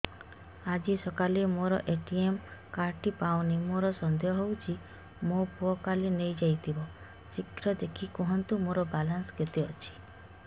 ଆଜି ସକାଳେ ମୋର ଏ.ଟି.ଏମ୍ କାର୍ଡ ଟି ପାଉନି ମୋର ସନ୍ଦେହ ହଉଚି ମୋ ପୁଅ କାଳେ ନେଇଯାଇଥିବ ଶୀଘ୍ର ଦେଖି କୁହନ୍ତୁ ମୋର ବାଲାନ୍ସ କେତେ ଅଛି